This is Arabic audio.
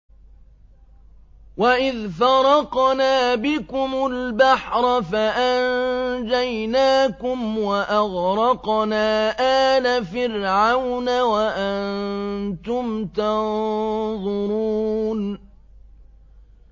وَإِذْ فَرَقْنَا بِكُمُ الْبَحْرَ فَأَنجَيْنَاكُمْ وَأَغْرَقْنَا آلَ فِرْعَوْنَ وَأَنتُمْ تَنظُرُونَ